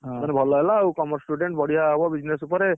ହଁ, ଭଲହେଲା ଆଉ Commerce student ବଢିଆ ହବ business ଉପରେ।